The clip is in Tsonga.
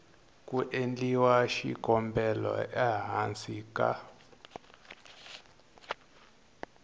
ku endliwa xikombelo ehansi ka